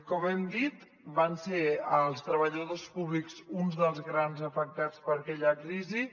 com hem dit van ser els treballadors públics uns dels grans afectats per aquella crisi